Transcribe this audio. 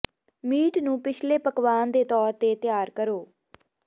meat ਨੂੰ ਪਿਛਲੇ ਪਕਵਾਨ ਦੇ ਤੌਰ ਤੇ ਤਿਆਰ ਕਰੋ